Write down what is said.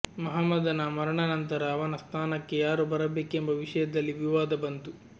ಮಹಮ್ಮದನ ಮರಣಾನಂತರ ಅವನ ಸ್ಥಾನಕ್ಕೆ ಯಾರು ಬರಬೇಕೆಂಬ ವಿಷಯದಲ್ಲಿ ವಿವಾದ ಬಂತು